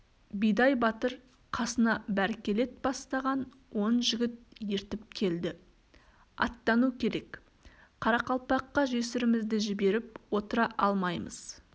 бидай батыр қасына бәркелет бастаған он жігіт ертіп келді аттану керек қарақалпаққа жесірімізді жіберіп отыра алмаймыз